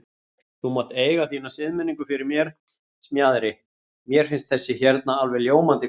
Þú mátt eiga þína siðmenningu fyrir mér, Smjaðri, mér finnst þessi hérna alveg ljómandi góð.